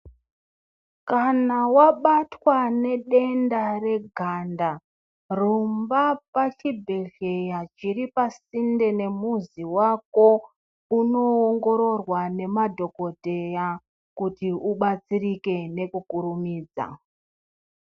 Kana wabatwa nedenda reganda, rumba pachibhedhleya chiri pasinde nemuzi wako, unoongororwa nemadhokodheya kuti ubatsirike nekukurumidza.